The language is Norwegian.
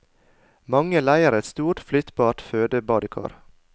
Mange leier et stort flyttbart fødebadekar.